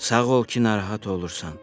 Sağ ol ki, narahat olursan.